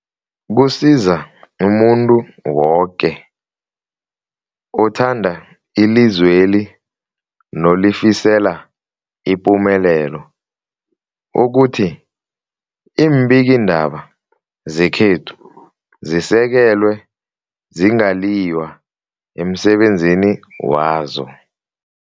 Kusiza umuntu woke othanda ilizweli nolifisela ipumelelo ukuthi iimbikiindaba zekhethu zisekelwe, zingaliywa emsebenzini wazo.